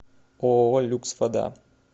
ооо люкс вода